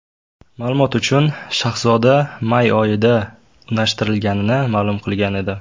Ma’lumot uchun, Shahzoda may oyida unashtirilganini ma’lum qilgan edi.